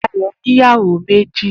Dayo ni Ìyáwó mèji